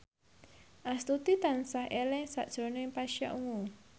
Astuti tansah eling sakjroning Pasha Ungu